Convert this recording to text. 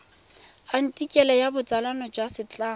athikele ya botsalano jwa setlamo